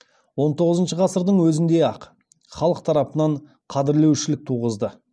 он тоғызыншы ғасырдың өзінде ақ халық тарапынан қадірлеушілік туғызды